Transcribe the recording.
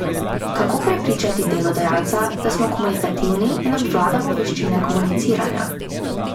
Kako prepričati delodajalca, da smo komunikativni in obvladamo veščine komuniciranja?